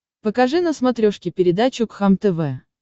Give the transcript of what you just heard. покажи на смотрешке передачу кхлм тв